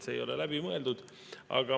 See ei ole läbi mõeldud.